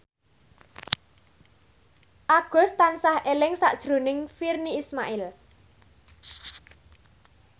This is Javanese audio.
Agus tansah eling sakjroning Virnie Ismail